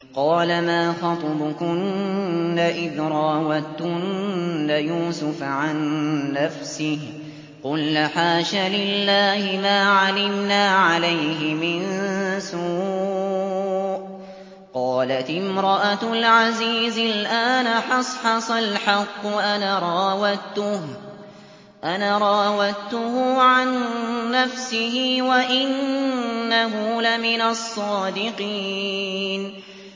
قَالَ مَا خَطْبُكُنَّ إِذْ رَاوَدتُّنَّ يُوسُفَ عَن نَّفْسِهِ ۚ قُلْنَ حَاشَ لِلَّهِ مَا عَلِمْنَا عَلَيْهِ مِن سُوءٍ ۚ قَالَتِ امْرَأَتُ الْعَزِيزِ الْآنَ حَصْحَصَ الْحَقُّ أَنَا رَاوَدتُّهُ عَن نَّفْسِهِ وَإِنَّهُ لَمِنَ الصَّادِقِينَ